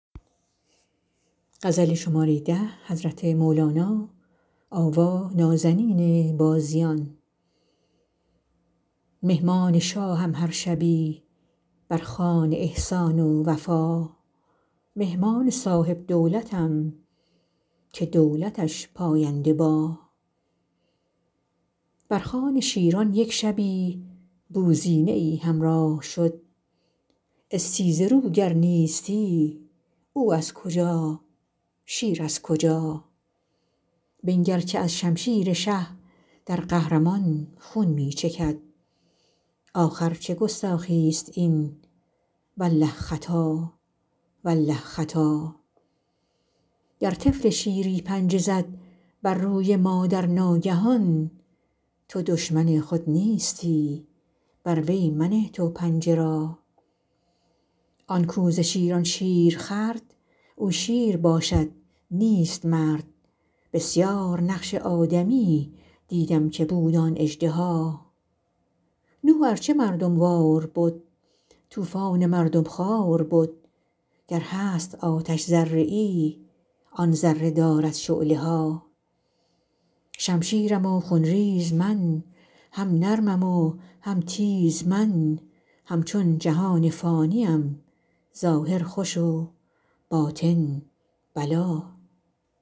مهمان شاهم هر شبی بر خوان احسان و وفا مهمان صاحب دولتم که دولتش پاینده با بر خوان شیران یک شبی بوزینه ای همراه شد استیزه رو گر نیستی او از کجا شیر از کجا بنگر که از شمشیر شه در قهر مان خون می چکد آخر چه گستاخی است این والله خطا والله خطا گر طفل شیری پنجه زد بر روی مادر ناگهان تو دشمن خود نیستی بر وی منه تو پنجه را آن کاو ز شیران شیر خورد او شیر باشد نیست مرد بسیار نقش آدمی دیدم که بود آن اژدها نوح ار چه مردم وار بد طوفان مردم خوار بد گر هست آتش ذره ای آن ذره دارد شعله ها شمشیرم و خون ریز من هم نرمم و هم تیز من همچون جهان فانی ام ظاهر خوش و باطن بلا